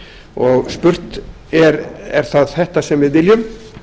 og spurt er er það þetta sem við viljum